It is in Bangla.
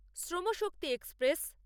শ্রম শক্তি এক্সপ্রেস